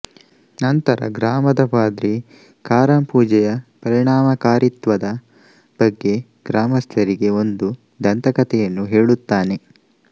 ನಂತರ ಗ್ರಾಮದ ಪಾದ್ರಿ ಕಾರಮ್ ಪೂಜೆಯ ಪರಿಣಮಕಾರಿತ್ವದ ಬಗ್ಗೆ ಗ್ರಾಮಸ್ಥರಿಗೆ ಒಂದು ದಂತಕತೆಯನ್ನು ಹೇಳುತ್ತಾನೆ